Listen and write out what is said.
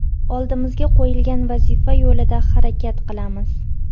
Oldimizga qo‘yilgan vazifa yo‘lida harakat qilamiz.